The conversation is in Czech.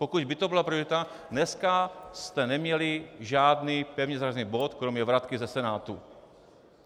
Pokud by to byla priorita, dneska jste neměli žádný pevně zařazený bod kromě vratky ze Senátu.